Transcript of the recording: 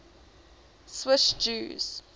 swiss jews